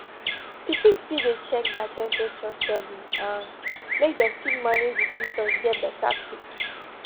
pikin fit dey check their temperature steady um make dem fit manage di symptoms get beta quick